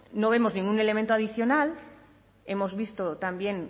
no vemos ningún elemento adicional hemos visto también